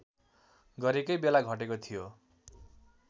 गरकै बेला घटेको थियो